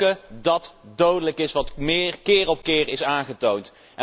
Roken dat dodelijk is, wat keer op keer is aangetoond.